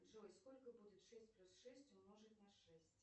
джой сколько будет шесть плюс шесть умножить на шесть